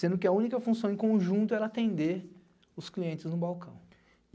sendo que a única função em conjunto era atender os clientes no balcão.